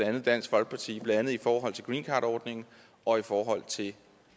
andet dansk folkeparti blandt andet i forhold til greencardordningen og i forhold til